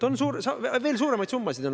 Nii et on olnud veel suuremaid summasid.